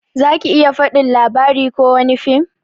Zaki iya fadin labari kowani fim?